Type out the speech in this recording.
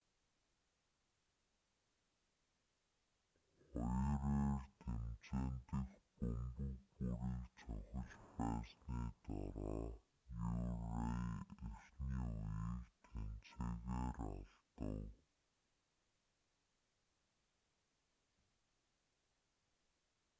хоёр эр тэмцээн дэх бөмбөг бүрийг цохиж байсны дараа мюррей эхний үеийг тэнцээгээр алдав